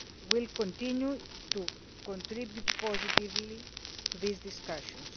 will continue to contribute positively to these discussions.